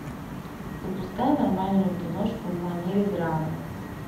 запускай нормальную киношку в манере драмы